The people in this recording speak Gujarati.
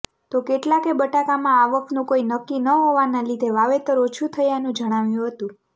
તો કેટલાકે બટાકામાં આવકનું કોઈ નક્કી ન હોવાના લીધે વાવેતર ઓછું થયાનું જણાવ્યું હતું